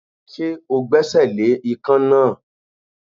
Ṣé o gbẹ́sẹ̀ le ikán náà?